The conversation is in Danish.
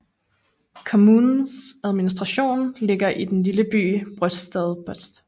Kommunens administration ligger i den lille by Brøstadbotn